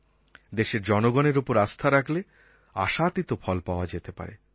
দেশের জনগণের ওপর আস্থা রাখলে আশাতীত ফল পাওয়া যেতে পারে